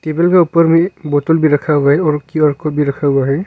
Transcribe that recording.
Table का ऊपर भी बोतल भी रखा हुआ है और क्यू_आर कोड भी रखा हुआ है।